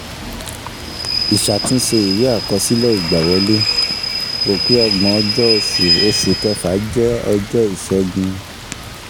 Ìṣàtúnṣe ìwé àkọsílẹ̀ ìgbàwọlé: rò pé ọgbọ́n-ọjọ́ oṣù oṣù kẹfà jẹ́ ọjọ́ ìṣẹ́gun